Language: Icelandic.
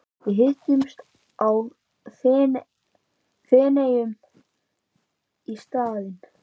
Við hittumst í Feneyjum í staðinn.